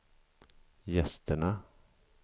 gästerna